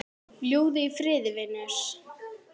Fljúgðu í friði vinur.